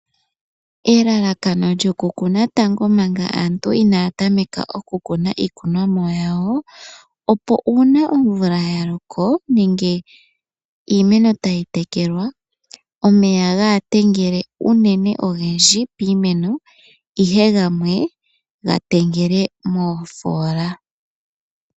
Aanamapya ohaya longitha omukalo ngoka gokuthiga po oofola dha siluka, opo ngele omvula yaloko unene omeya ga tengele mo. Ohashi kwathele iilya yo koke nawa.